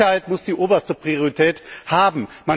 Die Sicherheit muss die oberste Priorität haben!